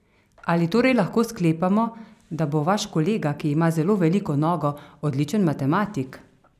Ali torej lahko sklepamo, da bo vaš kolega, ki ima zelo veliko nogo, odličen matematik?